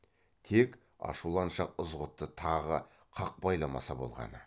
тек ашуланшақ ызғұтты тағы қақпайламаса болғаны